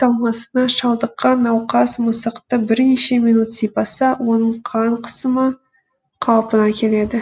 талмасына шалдыққан науқас мысықты бірнеше минут сипаса оның қан қысымы қалпына келеді